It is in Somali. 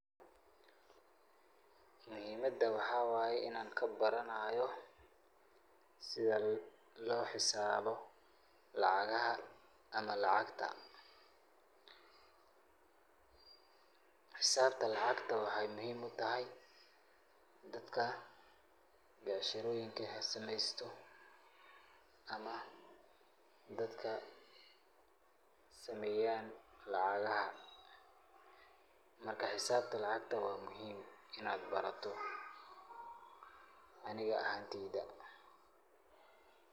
Muhiimida waxaa waay inaan kabaranaayo sida loo hisaabo lacagaha ama lacagta. Hisaabta lacagta waxay muhiim u tahay dadka becsherooyinka sameysta ama dadka sameeya lacagaha. Marka, hisaabta lacagta waa muhiim inaad barato aniga ahaanteyda.